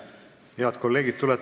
Head kolleegid!